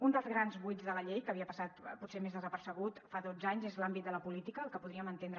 un dels grans buits de la llei que havia passat potser més desapercebut fa dotze anys és l’àmbit de la política el que podríem entendre